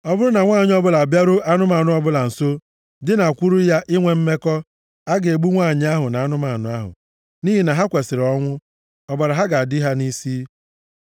“ ‘Ọ bụrụ na nwanyị ọbụla abịaruo anụmanụ ọbụla nso dinakwuru ya inwe mmekọ, a ga-egbu nwanyị ahụ na anụmanụ ahụ, nʼihi na ha kwesiri ọnwụ. Ọbara ha ga-adị ha nʼisi.